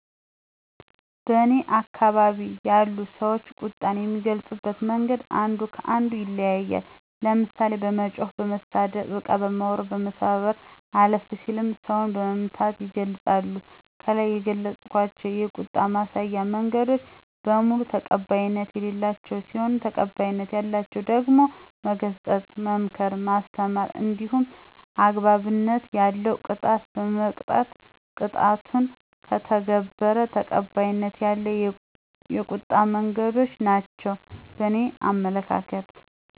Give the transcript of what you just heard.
በእኔ አከባቢ ያሉ ሰዎች ቁጣን የሚገልጹበት መንገድ አንዱ ከ አንዱ ይለያያል። ለምሳሌ፦ በመጮህ፣ በመሳደብ፣ እቃ በመወርወር፣ በመሰባበር አለፍ ሲልም ሰውን በመምታት ይገልፃሉ። ከላይ የገለፅኳቸው የቁጣ ማሳያ መንገዶች በሙሉ ተቀባይነት የሌላቸው ሲሆኑ ተቀባይነት ያላቸው ደግሞ መገሰጽ፣ መምከር፣ ማስተማር እንዲሁም አግባብነት ያለው ቅጣት በመቅጣት ቁጣውን ከተገበረ ተቀባይነት ያለው የቁጣ መንገዶች ናቸው በእኔ አመለካከት።